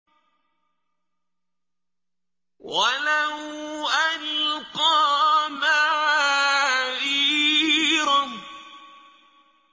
وَلَوْ أَلْقَىٰ مَعَاذِيرَهُ